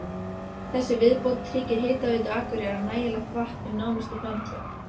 Neptúnus ysta reikistjarna sólkerfisins næstu sextíu árin.